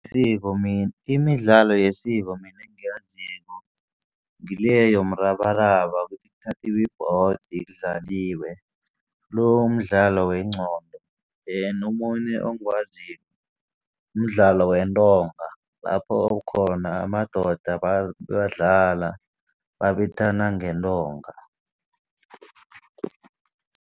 Isiko , imidlalo yesiko mina engiyaziko ngile yomrabaraba ukuthi kuthathiwa ibhodi kudlaliwe. Lo umdlalo wengqondo then omunye engiwaziko, mdlalo wentonga lapho khona amadoda badlala babethana ngentonga.